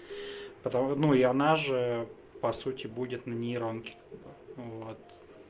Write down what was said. потому ну и она же по сути будет на нейронки вот